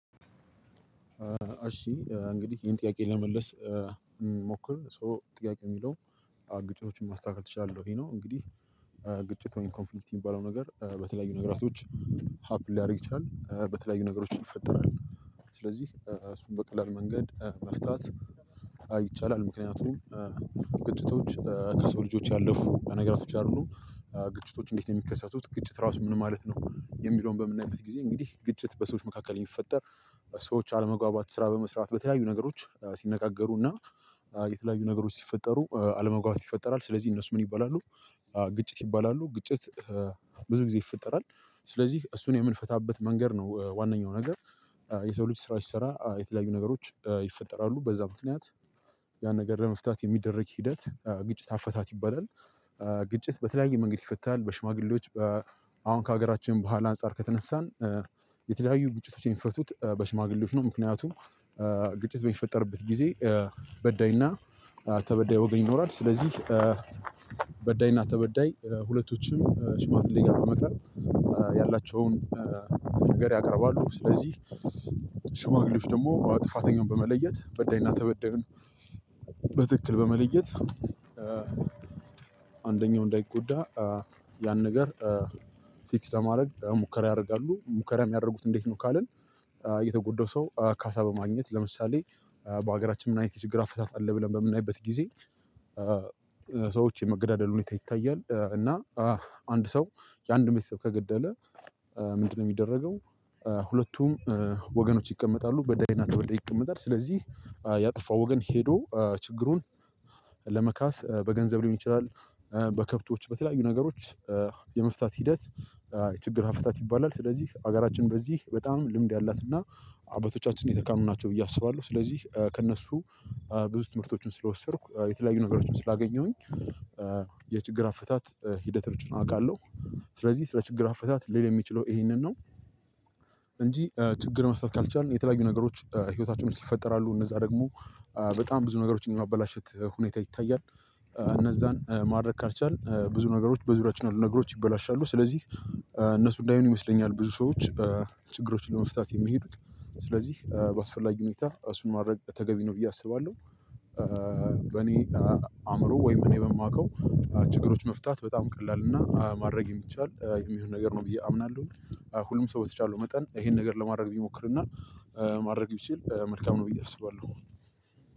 እሽ እንግዲህ ይሄን ጥያቄ ለመመለስ እንሞክር ሶ ጥያቄ የሚለው ግጭቶችን ማስተካከል ትችላለህ ወይ ነው? እንግዲህ ግጭት ወይም ኮንፍልክቲ የሚባለው ነገር በተለያዩ ነገራቶች ሀፕን ሊያደርግ ይችላል በተለያዩ ነገሮች ይፈጠራል። ስለዚህ እሱን በቀላል መንገድ መፍታት አዎ ይቻልም ምክንያቱም ግጭቶች ከሰው ልጆች ያለፉ ነገራቶች አይደሉም። ግጭቶች እንዴት ነው የሚከሰቱት ግጭት ራሱ ምን ማለት ነው? የሚለውን በምናይበት ጊዜ እንግዲህ ግጭት በሰዎች መካከል የሚፈጠር። ሰዎች አለመግባባት ስራ በመስራት በተለያዩ ነገሮች ሲነጋገሩና የተለያዩ ነገሮች ሲፈጠሩ አለመግባባት ይፈጠራል ስለዚህ እነሱ ምን ይባላሉ? ግጭት ይባላሉ። ግጭት ብዙ ጊዜ ይፈጠራል። ስለዚህ እሱን የምንፈታበት መንገድ ነው ዋነኛው ነገር። የሰው ልጅ ስራ ሲሰራ የተለያዩ ነገሮች ይፈጠራሉ በዛ ምክንያት ያን ነገር ለመፍታት የሚደረግ ሂደት ግጭት አፈታት ይባላል። ግጭት በተለያየ መንገድ ይፈታል። በሽማግሌዎች አሁን ከሀገራችን በኋላ አንፃር ከተነሳን የተለያዩ ግጭቶች የሚፈቱት በሽማግሌዎች ነው። ምክንያቱም ግጭት በሚፈጠርበት ጊዜ በዳይና ተበዳይ ወገኝ ይኖራል። ስለዚህ በዳይና ተበዳይ ሁለቶችም ሽማግሌ ጋር በመቅረብ ያላቸውን ነገር ያቀርባሉ። ስለዚህ ሽማግሌዎች ደግሞ ጥፋተኛውን በመለየት በዳይና ተበዳዩን በትክክል በመለየት አንደኛው እንዳይጎዳ ያን ነገር ፊክስ ለማድረግ ሙከራ ያደርጋሉ። ሙከራ የሚያደርጉት እንዴት ነው? ካልን የተጎዳው ሰው ካሳ በማግኘት ለምሳሌ በሀገራችን ምን አይነት ችግር አፈታት አለ? ብለን በምናይበት ጊዜ ሰዎች የመገዳደል ሁኔታ ይታያል። እና አንድ ሰው የአንድ ቤተሰብ ከገደለ ምንድነው የሚደረገው? ሁለቱም ወገኖች ይቀመጣሉ በዳይና ተበዳይ ይቀመጣል ስለዚህ ያጠፋው ወገን ሄዶ ችግሩን ለመካስ በገንዘብ ሊሆን ይችላል። በከብቶች በተለያዩ ነገሮች የመፍታት ሂደት ችግር አፈታት ይባላል። ስለዚህ ሀገራችን በዚህ በጣም ልምድ ያላትና አባቶቻችን የተካኑ ናቸው ብዬ አስባለሁ። ስለዚህ ከእነሱ ብዙ ትምህርቶችን ስለወሰድኩ የተለያዩ ነገሮችን ስላገኘሁኝ የችግር አፈታት ሂደቶችን አውቃለሁ። ስለዚህ ስለ ችግር አፈታት ልሐል የምችለው ይሄንን ነው። እንጂ ችግር መፍታት ካልቻልን የተለያዩ ነገሮች ህይወታችን ውስጥ ይፈጠራሉ እነዛ ደግሞ በጣም ብዙ ነገሮችን የማበላሸት ሁኔታ ይታያል። እነዛን ማድረግ ካልቻልን ብዙ ነገሮች በዙሪያችን አሉ ነገሮች ይበላሻሉ ስለዚህ እነሱ እንዳይሆን ይመስለኛል። ብዙ ሰዎች ችግሮችን ለመፍታት የሚሄዱት ስለዚህ በአስፈላጊ ሁኔታ እሱን ማድረግ ተገቢ ነው ብዬ አስባለሁ። በኔ አእምሮ ወይም እኔ በማውቀው ችግሮች መፍታት በጣም ቀላል እና ማድረግ የሚቻል የሚሆን ነገር ነው ብዬ አምናለሁ። ሁሉም ሰው በተቻለው መጠን ይሄን ነገር ለማድረግ ቢሞክርና ማድረግ ቢችል መልካም ነው ብዬ አስባለሁ።